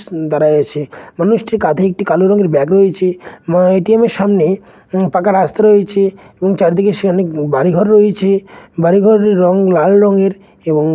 দাঁড়িয়েছে মানুষটির কাঁধেই একটি কালো রঙের ব্যাগ রয়েছে এবং এ .টি.এম (A.T.M) এর সামনে উম পাকা রাস্তা রয়েছে এবং চারিদিকে সে অনেক বাড়ি ঘর রয়েছে বাড়িঘরের রঙ লাল রঙের এবং--